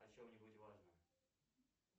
о чем нибудь важном